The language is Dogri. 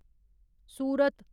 सूरत